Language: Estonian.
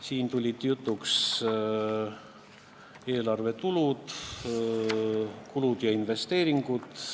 Temaga tulid jutuks eelarve tulud, kulud ja investeeringud.